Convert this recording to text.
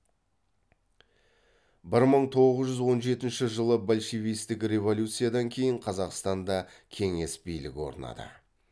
бір мың тоғыз жүз он жетінші жылы большевистік революциядан кейін қазақстанда кеңес билігі орнады